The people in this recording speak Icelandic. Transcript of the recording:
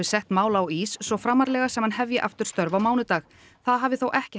setti mál á ís svo framarlega sem hann hefji störf á mánudaginn það hafði þó ekki